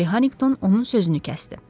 Polly Harrington onun sözünü kəsdi.